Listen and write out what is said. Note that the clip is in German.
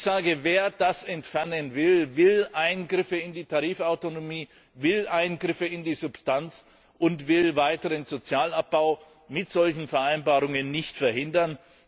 Ich sage, wer das entfernen will, will Eingriffe in die Tarifautonomie, will Eingriffe in die Substanz und will weiteren Sozialabbau durch solche Vereinbarungen nicht verhindern.